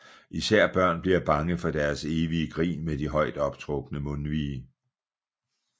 Især børn bliver bange for deres evige grin med de højt optrukne mundvige